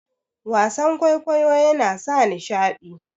wasan kwaikwayo yana sa nishadi